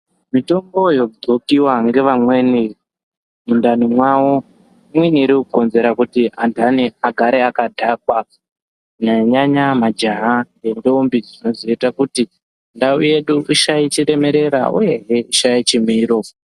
Mitombo yogonkiwa nevamweni mundani mavo inokonzera kuti andani agare akadhakwa kunyanyaa majaha nendombi dzinozoita kuti ndau yedu ishaikwe Isaite chiremerera uyehe Isaite chimiro.